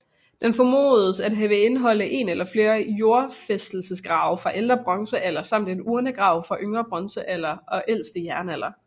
Den formodes at indeholde en eller flere jordfæstelsesgrave fra ældre bronzealder samt en urnegrav fra yngre bronzealder og ældste jernalder